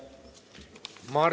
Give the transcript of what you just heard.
Aitäh!